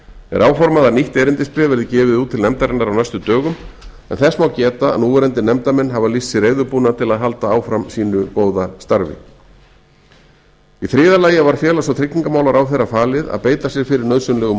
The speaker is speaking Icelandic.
er áformað að nýtt erindisbréf verði gefið út til nefndarinnar á næstu dögum en þess má geta að núverandi nefndarmenn hafa lýst sig reiðubúna til að halda starfi sínu áfram í þriðja lagi var félags og tryggingamálaráðherra falið að beita sér fyrir nauðsynlegum